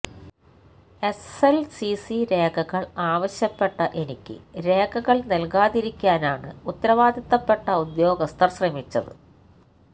SLCC രേഖകള് ആവശ്യപ്പെട്ട എനിക്ക് രേഖകള് നല്കാതിരിക്കാനാണ് ഉത്തരവാദിത്വപ്പെട്ട ഉദ്യോഗസ്ഥര് ശ്രമിച്ചത്